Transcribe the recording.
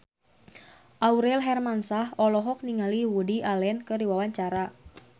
Aurel Hermansyah olohok ningali Woody Allen keur diwawancara